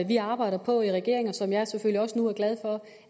vi arbejder på i regeringen og som jeg selvfølgelig også nu er glad for